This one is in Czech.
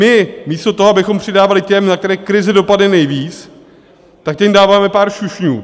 My místo toho, abychom přidávali těm, na které krize dopadne nejvíc, tak těm dáváme pár šušňů.